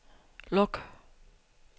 luk